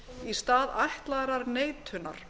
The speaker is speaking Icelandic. í stað ætlaðrar neitunar